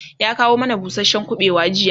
ya kawo mana busashen kubewa jiya